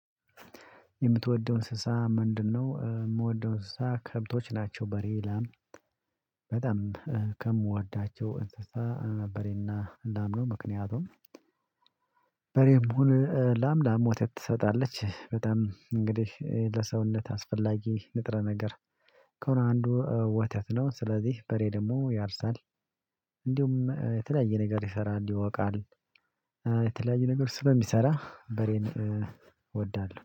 የምትወደው እንስሳ ምንድነው? የምወደው እንስሳ ከብቶች ናቸው በሬ ላም በጣም ከምወዳቸው እንስሳ በሬና ላምነው ምክንያቱም በሬ ሁን ላም ላም ወተት ትሰጣለች በጣም እንግዲህ ለሰውነት አስፈላጊ ንጥረ ነገር ከሆነ አንዱ ወተት ነው። ስለዚህ በሬ ደግሞ ያርሳል። እንዲሁም የተለያየ ነገር ይሰራል ይወቃል። የተለያየ ነገር ስለሚሰራ በሬን እወዳለሁ